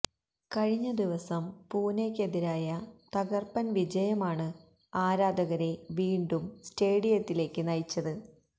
കഴിഞ്ഞ ദിവസം പൂനെക്കെതിരായ തകര്പ്പന് വിജയമാണ് ആരാധകരെ വീണ്ടും സ്റ്റേഡിയത്തിലേക്ക് നയിച്ചത്